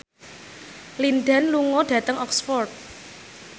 Lin Dan lunga dhateng Oxford